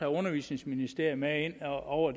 undervisningsministeriet med ind over